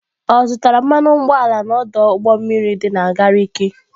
Ọ zụtara mmanụ ụgbọala n'ọdụ ụgbọ mmiri dị na Gariki?